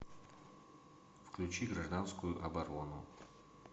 включи гражданскую оборону